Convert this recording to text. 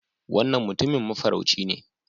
Wannan Mutumin Mafarauci ne